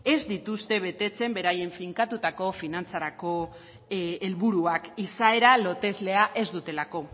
ez dituzte betetzen beraiek finkatutako finantzarako helburuak izaera loteslea ez dutelako